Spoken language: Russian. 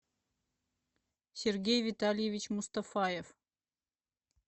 сергей витальевич мустафаев